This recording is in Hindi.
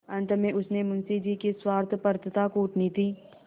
अंत में उसने मुंशी जी की स्वार्थपरता कूटनीति